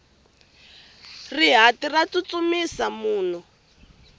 rihati ra tsutsumisa munhu